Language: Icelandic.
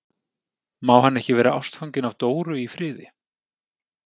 Má hann ekki vera ástfanginn af Dóru í friði?